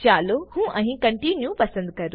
ચાલો હું અહી કોન્ટિન્યુ પસંદ કરું